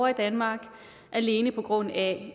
i danmark alene på grund af